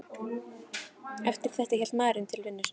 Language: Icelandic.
Eftir þetta hélt maðurinn til vinnu sinnar.